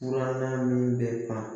Furannan min bɛ ban